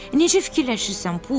Necə fikirləşirsən Pux?